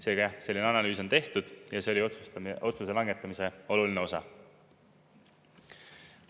Seega selline analüüs on tehtud ja see oli otsustamise, otsuse langetamise oluline osa.